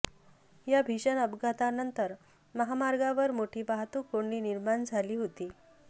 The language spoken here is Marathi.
या भीषण अपघातानंतर महामार्गावर मोठी वाहतूक कोंडी निर्माण झाली होती